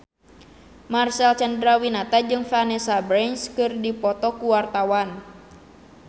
Marcel Chandrawinata jeung Vanessa Branch keur dipoto ku wartawan